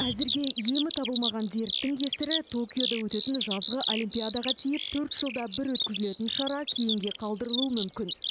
әзірге емі табылмаған дерттің кесірі токиода өтетін жазғы олимпиадаға тиіп төрт жылда бір өткізілетін шара кейінге қалдырылуы мүмкін